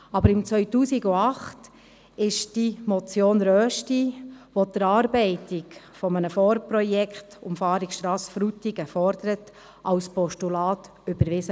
Aber im Jahr 2008 wurde die Motion Rösti , die die Erarbeitung eines Vorprojekts zur Umfahrungsstrasse Frutigen fordert, als Postulat überwiesen.